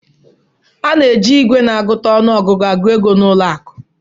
A na-eji igwe na-agụta ọnụ ọgụgụ agụ ego na ụlọ akụ